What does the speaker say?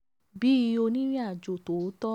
bí onírìnàjò tòótọ́